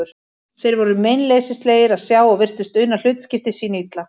Þeir voru meinleysislegir að sjá og virtust una hlutskipti sínu illa.